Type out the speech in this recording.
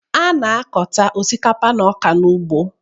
A na-akọta osikapa na ọka n'ugbo